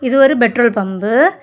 இது ஒரு petrol pump .